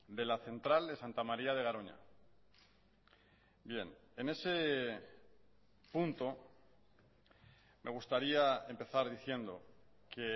de la central de santa maría de garoña en ese punto me gustaría empezar diciendo que